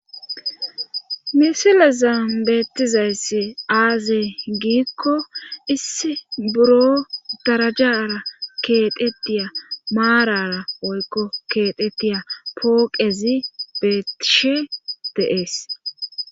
misila zam beettizayssi aazey giikko issi buro darajara keedetiya maarara oykko keetettiya pooqezi beettishe deees